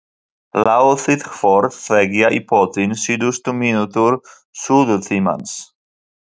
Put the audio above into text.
Látið hvort tveggja í pottinn síðustu mínútur suðutímans.